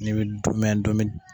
Ni bi dumɛ ndomi.